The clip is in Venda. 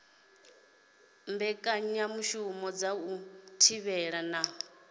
mbekanyamushumo dza u thivhela na